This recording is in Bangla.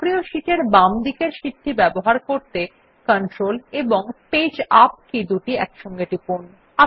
সক্রিয় শীট এর বাম দিকের শীটটি ব্যবহার করতেControl এবং পেজ ইউপি কী দুটি একসাথে টিপুন